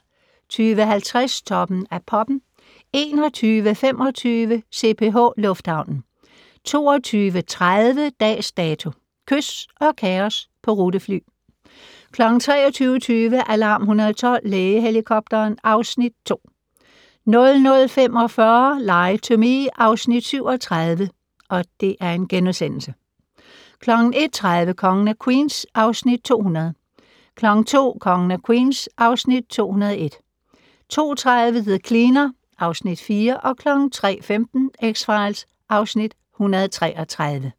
20:50: Toppen af Poppen 21:25: CPH Lufthavnen 22:30: Dags Dato: Kys og kaos på rutefly 23:20: Alarm 112 - Lægehelikopteren (Afs. 2) 00:45: Lie to Me (Afs. 37)* 01:30: Kongen af Queens (Afs. 200) 02:00: Kongen af Queens (Afs. 201) 02:30: The Cleaner (Afs. 4) 03:15: X-Files (Afs. 133)